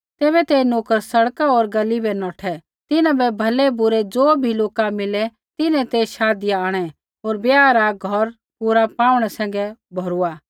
तैबै ते नोकर सड़क होर गली बै नौठै तिन्हां बै भलैबुरै ज़ो भी लोका मिलै तिन्हैं ते शाधिया आंणै होर ब्याह रा घौर पूरा पाऊणै सैंघै भौरूआ